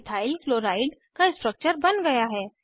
ethyl chloride का structure बन गया है